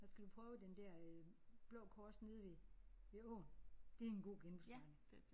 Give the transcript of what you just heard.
Så skal du prøve den der øh Blå Kors nede ved ved åen. Det er en god genbrugsforretning